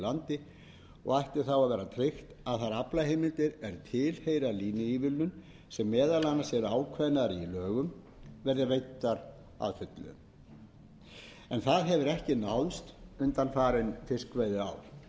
landi og ætti þá að vera tryggt að þær aflaheimildir er tilheyra línuívilnun sem meðal annars eru ákveðnar í lögum verði veiddar að fullu en það hefur ekki náðst undanfarin fiskveiðiár